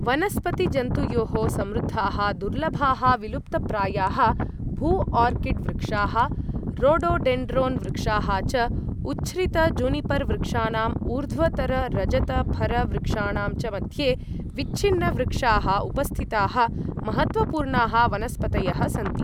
वनस्पतिजन्तुयोः समृद्धाः दुर्लभाः, विलुप्तप्रायाः भू आर्किड् वृक्षाः, रोडोडेण्ड्रोन् वृक्षाः च उच्छ्रित जुनिपर वृक्षाणां, ऊर्ध्वतर रजत फर वृक्षाणां च मध्ये विच्छिन्न वृक्षाः उपस्थिताः महत्त्वपूर्णाः वनस्पतयः सन्ति